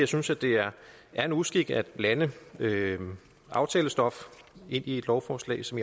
synes at det er en uskik at blande aftalestof ind i et lovforslag som